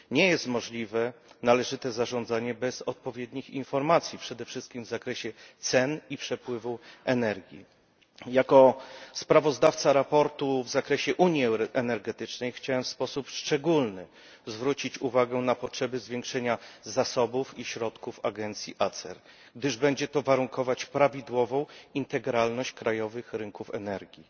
Nie jest możliwe należyte zarządzanie bez odpowiednich informacji, przede wszystkim w zakresie cen i przepływu energii. Jako sprawozdawca sprawozdania w zakresie unii energetycznej chciałem w sposób szczególny zwrócić uwagę na potrzeby zwiększenia zasobów i środków agencji ACER, gdyż będzie to warunkować prawidłową integralność krajowych rynków energii.